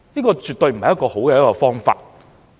這絕對不是一個好方法。